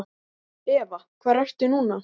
Eva: Hvar ertu núna?